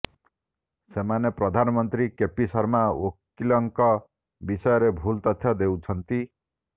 ସେମାନେ ପ୍ରଧାନମନ୍ତ୍ରୀ କେପି ଶର୍ମା ଓଲିଙ୍କ ବିଷୟରେ ଭୁଲ ତଥ୍ୟ ଦେଉଛନ୍ତି